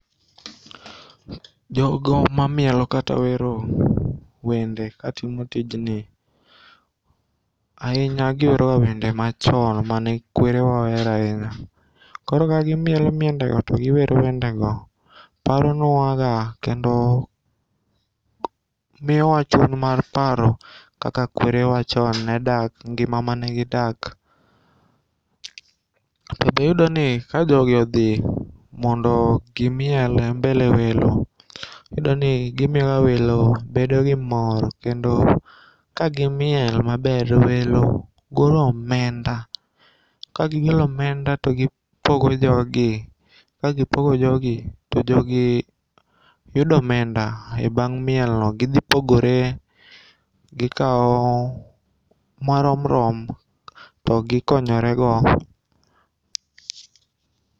Jogo mamiel kata wero wende katimo tijni ahinya giwero ga wende machon mane kwerewa ohero ahinya. Koro kagimielo miendego to giwero wendego paronwa ga kendo miyowa chuny mar paro kaka kwere wa chon ne dak ngima manegi dak. To be iyudo ni ka jogi odhi mondo gimiel e mbele welo iyudo ni gimiyo welo bedo gi mor. Kendo kagimiel maber to welo golo omenda. Kagigolo omenda togipogo jogi. Kagipogi jogi to jogi yudo omenda e bang' miel no gidhipogore gikaw marom rom togikonyorego.